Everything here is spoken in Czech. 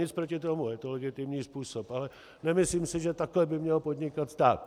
Nic proti tomu, je to legitimní způsob, ale nemyslím si, že takhle by měl podnikat stát.